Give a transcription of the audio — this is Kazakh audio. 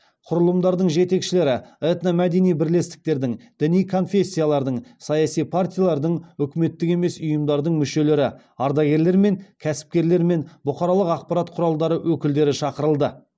құрылымдардың жетекшілері этномәдени бірлестіктердің діни конфессиялардың саяси партиялардың үкіметтік емес ұйымдардың мүшелері ардагерлер мен кәсіпкерлер мен бұқаралық ақпарат құралдары өкілдері шақырылды